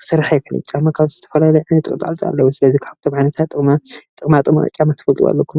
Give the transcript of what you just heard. ክሰርሕ አይክእልን፡፡ ጫማ ብዙሕ ጥቅሚታት አለዎ፡፡ ስለዚ ካብቶም ዓይነታት ጥቅማጥቅሚ ጫማ ክትፈልጥዋ አለኩም፡፡